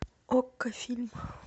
окко фильм